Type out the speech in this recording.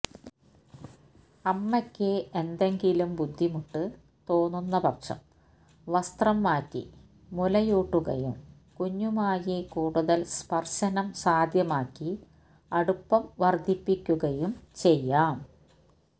അമ്മയ്ക്ക് എന്തെങ്കിലും ബുദ്ധിമുട്ട് തോന്നുന്നപക്ഷം വസ്ത്രം മാറ്റി മുലയൂട്ടുകയും കുഞ്ഞുമായി കൂടുതല് സ്പര്ശനം സാധ്യമാക്കി അടുപ്പം വര്ദ്ധിപ്പിക്കുകയും ചെയ്യാം